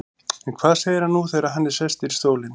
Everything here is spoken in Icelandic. En hvað segir hann nú þegar hann er sestur í stólinn?